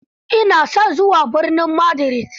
Ina son zuwa birnin Madrid.